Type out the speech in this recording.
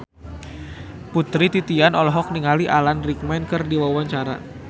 Putri Titian olohok ningali Alan Rickman keur diwawancara